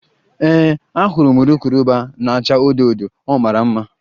Ee, ahụrụ m urukurubụba na-acha odo odo, ọ mara mma